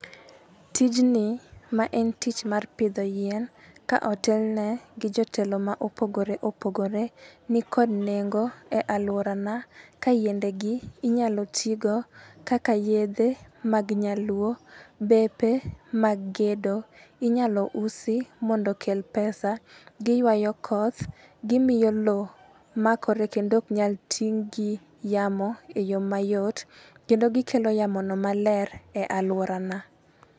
Tijni ma en tich mar pidho yien ka otelne gi jotelo ma opogore opogore nikod nengo e aluora na ka yiende gi inyalo tigo kaka yedhe mag nyaluo. Bepe mag gedo inyalo usi mondo kel pesa, giywayo koth, gimiyo loo makore kendo ok nyal ting' gi yamo e yoo mayot kendo gikelo yamo no maler e aluorana.